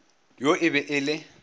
yo e be e le